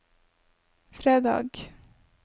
fredag